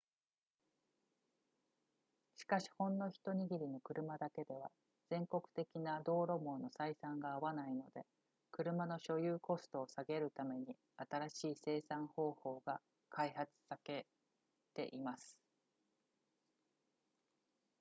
しかしほんの一握りの車だけでは全国的な道路網の採算が合わないので車の所有コストを下げるために新しい生産方法が開発さけています